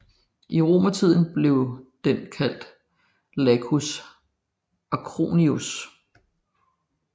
I romertiden blev den kaldt Lacus Acronius